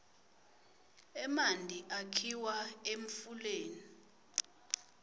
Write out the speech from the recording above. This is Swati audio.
emanti akhiwa emfuleni